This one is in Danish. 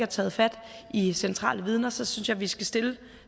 taget fat i centrale vidne så synes jeg vi skal stille